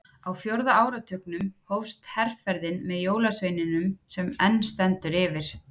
Á fjórða áratugnum hófst herferðin með jólasveininum sem enn stendur yfir.